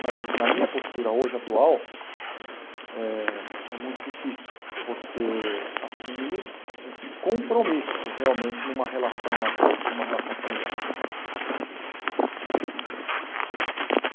Mas na minha postura hoje atual, é é muito difícil você assumir um compromisso realmente numa relação a dois, uma relação familiar.